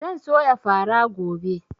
Zan soya fara gobe